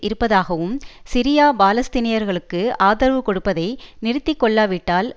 இருப்பதாகவும் சிரியா பாலஸ்தீனியர்களுக்கு ஆதரவு கொடுப்பதை நிறுத்திக்கொள்ளாவிட்டால்